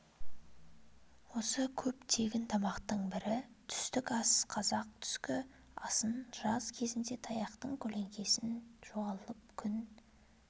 осы көп тегін тамақтың бірі түстік ас қазақ түскі асын жаз кезінде таяқтың көлеңкесі жоғалып күн